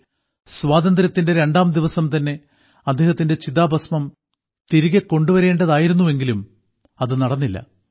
1947ൽ സ്വാതന്ത്ര്യത്തിന്റെ രണ്ടാം ദിവസംതന്നെ അദ്ദേഹത്തിന്റെ ചിതാഭസ്മം തിരികെകൊണ്ടുവരേണ്ടതായിരുന്നുവെങ്കിലും അതു നടന്നില്ല